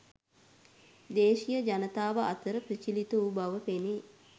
දේශීය ජනතාව අතර ප්‍රචලිත වූ බව පෙනේ.